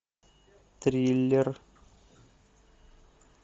триллер